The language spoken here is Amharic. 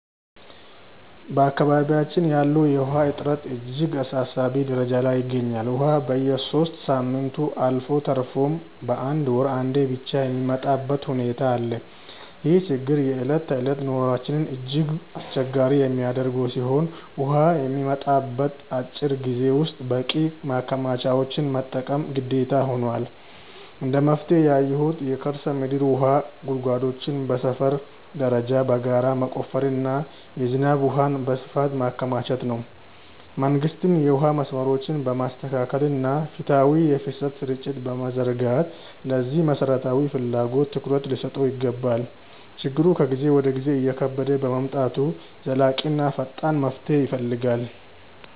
በአካባቢያችን ያለው የውሃ እጥረት እጅግ አሳሳቢ ደረጃ ላይ ይገኛል፤ ውሃ በየሦስት ሳምንቱ አልፎ ተርፎም በአንድ ወር አንዴ ብቻ የሚመጣበት ሁኔታ አለ። ይህ ችግር የዕለት ተዕለት ኑሯችንን እጅግ አስቸጋሪ የሚያደርገው ሲሆን፣ ውሃ በሚመጣበት አጭር ጊዜ ውስጥ በቂ ማከማቻዎችን መጠቀም ግዴታ ሆኗል። እንደ መፍትሄ ያየሁት የከርሰ ምድር ውሃ ጉድጓዶችን በሰፈር ደረጃ በጋራ መቆፈርና የዝናብ ውሃን በስፋት ማከማቸት ነው። መንግስትም የውሃ መስመሮችን በማስተካከልና ፍትሃዊ የፍሰት ስርጭት በመዘርጋት ለዚህ መሠረታዊ ፍላጎት ትኩረት ሊሰጠው ይገባል። ችግሩ ከጊዜ ወደ ጊዜ እየከበደ በመምጣቱ ዘላቂና ፈጣን መፍትሄ ይፈልጋል።